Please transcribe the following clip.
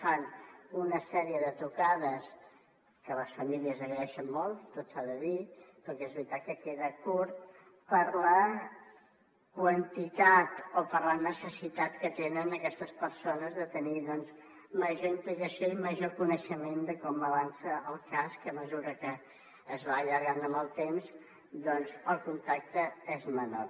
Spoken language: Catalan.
fan una sèrie de trucades que les famílies agraeixen molt tot s’ha de dir però que és veritat que queda curt per la necessitat que tenen aquestes persones de tenir major implicació i major coneixement de com avança el cas i que a mesura que es va allargant en el temps doncs el contacte és menor